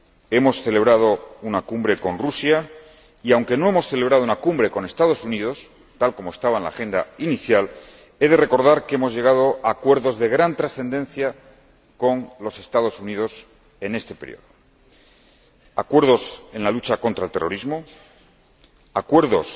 Hemos celebrado una cumbre con Rusia y, aunque no hemos celebrado una cumbre con los Estados Unidos tal como estaba en la agenda inicial, he de recordar que hemos llegado a acuerdos de gran trascendencia con los Estados Unidos en este período acuerdos en la lucha contra el terrorismo, acuerdos